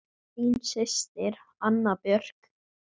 Þín systir, Anna Björk.